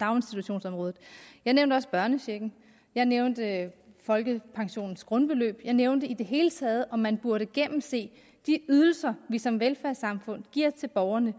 daginstitutionsområdet jeg nævnte også børnechecken jeg nævnte folkepensionens grundbeløb jeg nævnte i det hele taget at man burde gennemse de ydelser vi som velfærdssamfund giver til borgerne